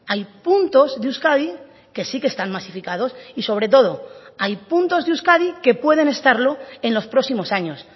hay puntos de euskadi que sí que están masificados y sobre todo hay puntos de euskadi que pueden estarlo en los próximos años